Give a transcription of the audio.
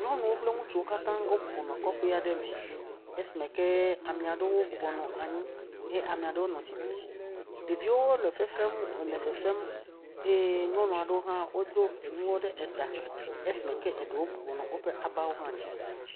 Nyɔnuwo kple ŋutsuwo katã wo bɔbɔnɔ kɔƒe aɖe me esime ke ame aɖewo bɔbɔnɔ anyi eye ame aɖewo le tsitre, ɖeviwo le fefem le fefem, eye nyɔnu aɖewo hã wodo enuwo ɖe ta esime wonɔ woƒe aba dzi.